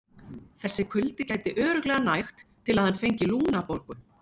Þessi kuldi gæti örugglega nægt til að hann fengi lungnabólgu.